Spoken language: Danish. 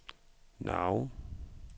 navn